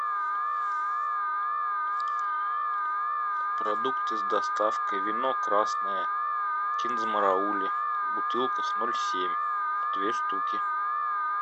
продукты с доставкой вино красное киндзмараули бутылка ноль семь две штуки